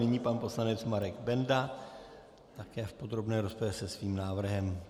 Nyní pan poslanec Marek Benda také v podrobné rozpravě se svým návrhem.